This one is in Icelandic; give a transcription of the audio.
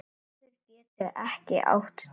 Maður getur ekki átt tvö